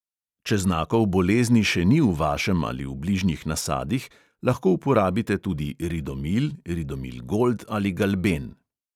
Če znakov bolezni še ni v vašem ali v bližnjih nasadih, lahko uporabite tudi ridomil, ridomil gold ali galben.